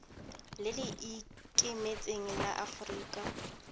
le le ikemetseng la aforika